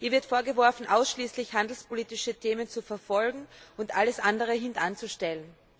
Ihr wird vorgeworfen, ausschließlich handelspolitische Ziele zu verfolgen und alles andere hintanzustellen.